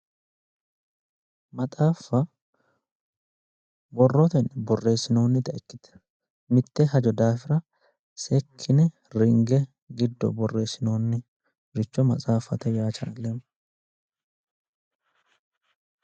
Maxaffa borrotenni birreessinoonnita ikkite mitte hajo daafia seekkine ringe borreessinoonnita maxaaffate yaa challeemmo